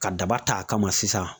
Ka daba t'a kama sisan